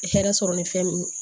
Hɛrɛ sɔrɔ ni fɛn nunnu